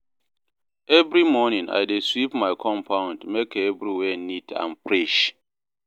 Every morning, I dey sweep my compound make everywhere neat and fresh